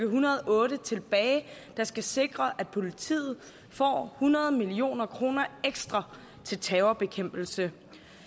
hundrede og otte tilbage der skal sikre at politiet får hundrede million kroner ekstra til terrorbekæmpelse